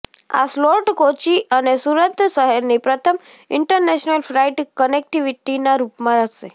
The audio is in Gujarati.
આ સ્લોટ કોચી અને સુરત શહેરની પ્રથમ ઇન્ટરનેશનલ ફ્લાઇટ કનેક્ટીવિટીના રૂપમાં હશે